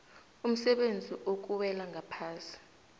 umsebenzi okuwela ngaphasi